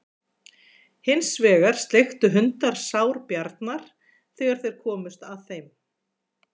Hins vegar sleiktu hundar sár Bjarnar þegar þeir komust að þeim.